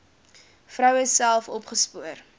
vroue self opgespoor